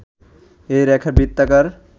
এ রেখা বৃত্তাকার